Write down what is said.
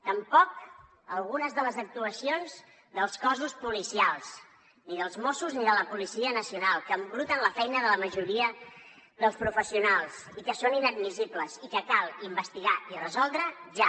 tampoc algunes de les actuacions dels cossos policials ni dels mossos ni de la policia nacional que embruten la feina de la majoria dels professionals i que són inadmissibles i que cal investigar i resoldre ja